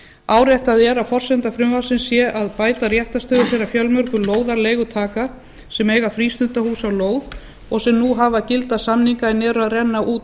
áréttað er að forsenda frumvarpsins sé að bæta réttarstöðu þeirra fjölmörgu lóðarleigutaka sem eiga frístundahús á lóð og sem nú hafa gilda samninga en nú eru að renna út